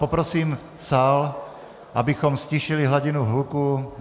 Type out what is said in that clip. Poprosím sál, abychom ztišili hladinu hluku.